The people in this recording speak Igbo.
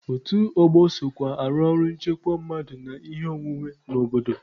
Otu ọgbọ sokwa arụ ọrụ nchekwa mmadụ na ihe ọnwụnwe n'obodo.